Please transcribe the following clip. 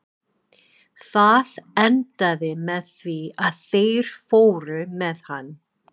Það endaði með því að þeir fóru með hann.